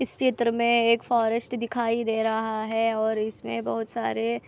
चित्र में एक फॉरेस्ट दिखाई दे रहा है और इसमें बहोत सारे--